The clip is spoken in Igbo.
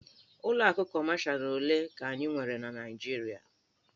Ụlọ akụ Kọmashalụ ole ka anyị nwere na Naịjirịa?